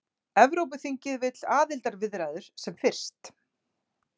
Evrópuþingið vill aðildarviðræður sem fyrst